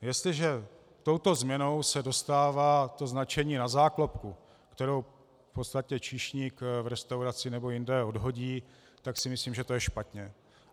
Jestliže touto změnou se dostává to značení na záklopku, kterou v podstatě číšník v restauraci nebo jinde odhodí, tak si myslím, že to je špatně.